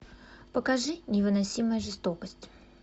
покажи невыносимая жестокость